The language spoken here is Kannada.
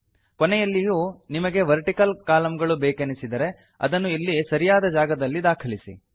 ಕೊನೆಯಲ್ಲಿಯೂ ನಿಮಗೆ ವರ್ಟಿಕಲ್ ಕಾಲಂಗಳು ಬೇಕೆನಿಸಿದರೆ ಅದನ್ನು ಇಲ್ಲಿ ಸರಿಯಾದ ಜಾಗದಲ್ಲಿ ದಾಖಲಿಸಿ